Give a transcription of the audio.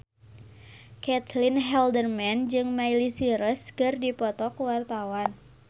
Caitlin Halderman jeung Miley Cyrus keur dipoto ku wartawan